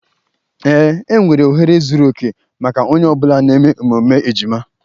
Ee, enwere ohere zuru oke maka onye ọ bụla na emume emume ejima